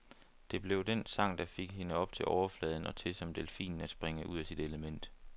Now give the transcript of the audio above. Det blev den sang, der fik hende op til overfladen og til, som delfinen, at springe ud af sit element.